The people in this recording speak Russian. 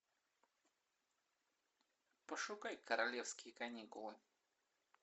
пошукай королевские каникулы